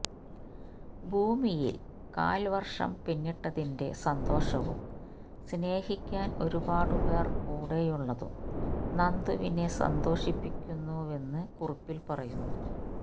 ഭൂമിയിൽ കാൽവർഷം പിന്നിട്ടതിന്റെ സന്തോഷവും സ്നേഹിക്കാൻ ഒരുപാടു പേർ കൂടെയുള്ളതും നന്ദുവിനെ സന്തോഷിപ്പിക്കുന്നുവെന്ന് കുറിപ്പിൽ പറയുന്നു